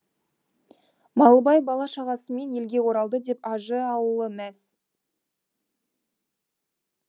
малыбай бала шағасымен елге оралды деп ажы ауылы мәз